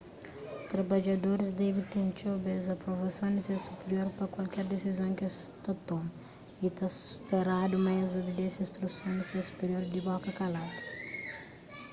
trabadjadoris debe ten txeu bês aprovason di ses supirior pa kualker disizon ki es ta toma y ta speradu ma es obedese instruson di ses supirior di boka kaladu